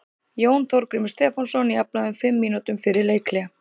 Jón Þorgrímur Stefánsson jafnaði um fimm mínútum fyrir leikhlé.